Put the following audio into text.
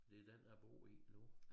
Det den jeg bor i nu